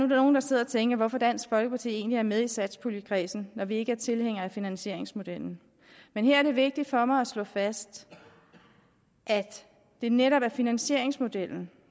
nogle der sidder og tænker hvorfor dansk folkeparti egentlig er med i satspuljekredsen når vi ikke er tilhængere af finansieringsmodellen men her er det vigtigt for mig at slå fast at det netop er finansieringsmodellen